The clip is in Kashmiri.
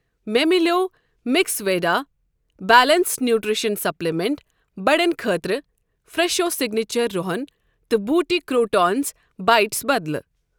مےٚ مِلیو میکسویڈا بیلنٛسڈ نیوٗٹرٛشن سپلِمنٛٹ بڑٮ۪ن خٲطرٕ فرٛٮ۪شو سِگنیچر رُحن تہٕ بوٹہِ کروٹونز بایٹس بدلہٕ۔